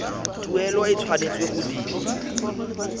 tuelo e tshwanetse go dirwa